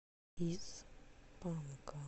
из панка